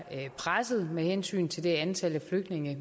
presset med hensyn til det antal flygtninge